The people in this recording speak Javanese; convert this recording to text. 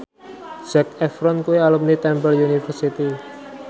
Zac Efron kuwi alumni Temple University